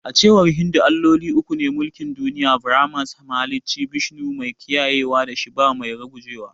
A cewar Hindu, Alloli uku ne ke mulkin duniya. Brahma: mahalicci; Vishnu: mai kiyayewa da Shiva: mai rugujewa.